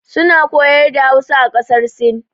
Su na koyar da Hausa a ƙasar sin.